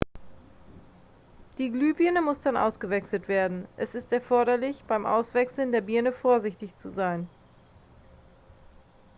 die glühbirne muss dann ausgewechselt werden es ist erforderlich beim auswechseln der birne vorsichtig zu sein